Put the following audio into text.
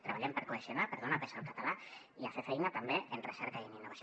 treballem per cohesionar per donar pes al català i a fer feina també en recerca i en innovació